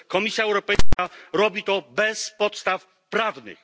Komisja Europejska robi to bez podstaw prawnych.